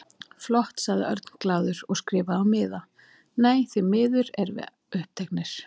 Flott sagði Örn glaður og skrifaði á miða: Nei, því miður, við erum uppteknir